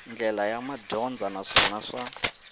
ndlela ya madyondza naswona swa